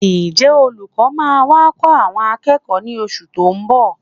Ǹjẹ́ olùkọ́ máa wá kọ́ àwọn akẹ́kọ̀ọ́ ní oṣù tó ń bọ̀?